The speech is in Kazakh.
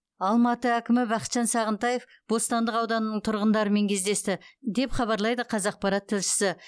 алматы әкімі бақытжан сағынтаев бостандық ауданының тұрғындарымен кездесті деп хабарлайды қазақпарат тілшісі